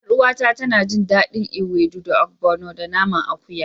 Yar uwata tana jin dadin ewedu da obgono da naman akuya.